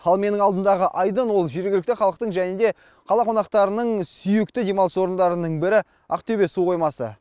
ал менің алдымдағы айдын ол жергілікті халықтың және де қала қонақтарының сүйікті демалыс орындарының бірі ақтөбе су қоймасы